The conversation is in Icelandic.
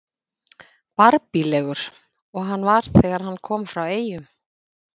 Barbílegur og hann var þegar hann kom frá Eyjum.